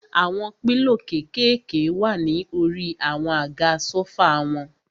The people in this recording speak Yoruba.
Àwọn pílò kékèèké wà ní orí àwọn àga sófà wọn.